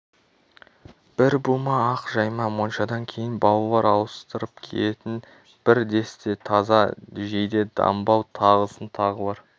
бір бума ақ жайма моншадан кейін балалар ауыстырып киетін бір десте таза жейде-дамбал тағысын тағылар